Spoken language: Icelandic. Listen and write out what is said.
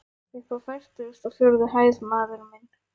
Uppi á fertugustu og fjórðu hæð, maður minn.